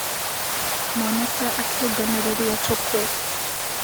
Mwanake akĩũnganarĩria tũkũ.